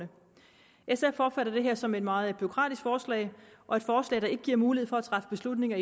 sf opfatter det her som et meget bureaukratisk forslag og et forslag der ikke giver mulighed for at træffe beslutninger